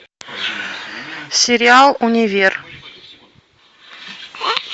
сериал универ